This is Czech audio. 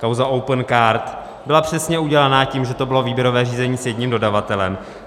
Kauza Opencard byla přesně udělaná tím, že to bylo výběrové řízení s jedním dodavatelem.